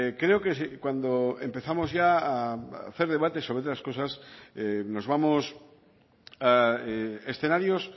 creo que cuando empezamos ya a debates sobre estas cosas nos vamos a escenarios